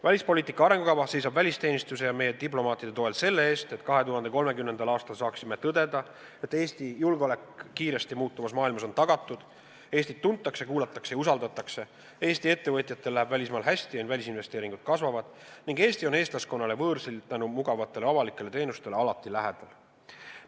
Välispoliitika arengukava seisab välisteenistuse ja meie diplomaatide toel selle eest, et 2030. aastal saaksime tõdeda, et Eesti julgeolek kiiresti muutuvas maailmas on tagatud; Eestit tuntakse, kuulatakse ja usaldatakse; Eesti ettevõtjatel läheb välismaal hästi ja välisinvesteeringud kasvavad; Eesti on eestlaskonnale võõrsil tänu mugavatele avalikele teenustele alati lähedal.